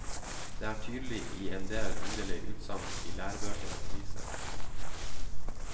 Det er tydelig i endel underlige utsagn i lærebøker og aviser.